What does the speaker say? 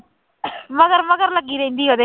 ਮਗਰ ਮਗਰ ਲੱਗੀ ਰਹਿੰਦੀ ਉਹਦੇ।